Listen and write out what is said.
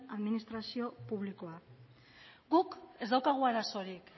administrazio publikoa guk ez daukagu arazorik